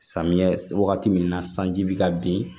Samiyɛ wagati min na sanji bɛ ka bin